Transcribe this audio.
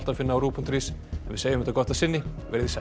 finna á rúv punktur is en við segjum þetta gott að sinni veriði sæl